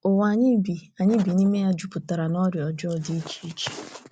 Ụwa anyị bi anyị bi n’ime ya taa jupụtara n’ọrịa ọjọọ dị iche iche.